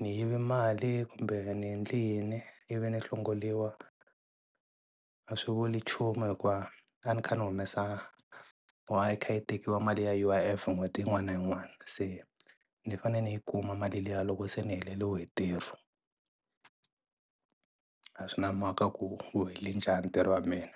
ni yive mali kumbe ni endle yini i vi ni hlongoriwa a swi vuli nchumu hikuva a ni kha ni humesa or a yi kha yi tekiwa mali ya U_I_F n'hweti yin'wana na yin'wana se ni fane ni yi kuma mali liya loko se ni heleriwe hi ntirho, a swi na maka ku wu hele njhani ntirho wa mina.